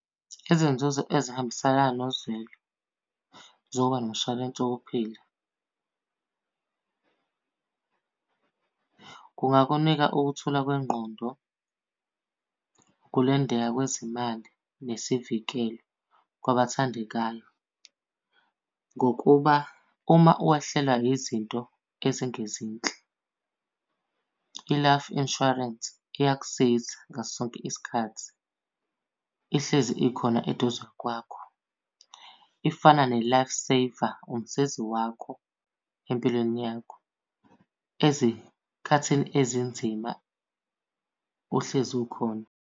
Izinzuzo ezihambiselana nozwelo zokuba nomshwalense wokuphila. Kungakunika ukuthula kwengqondo, ukulondeka kwezimali nesivikelo kwabathandekayo. Ngokuba uma wehlelwa yizinto ezingezinhle, i-life insurance iyakusiza ngaso sonke isikhathi ihlezi ikhona eduze kwakho. Ifana ne-life saver, umsizi wakho empilweni yakho, ezikhathini ezinzima uhlezi ukhona.